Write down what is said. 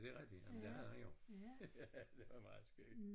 Ja det rigtigt jamen det havde han jo det var meget skæg